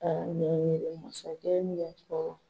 a masakɛ min y'a fɔ